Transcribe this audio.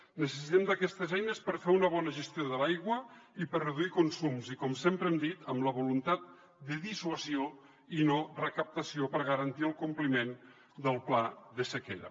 necessitem aquestes eines per fer una bona gestió de l’aigua i per reduir consums i com sempre hem dit amb la voluntat de dissuasió i no recaptació per garantir el compliment del pla de sequera